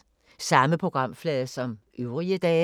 Samme programflade som øvrige dage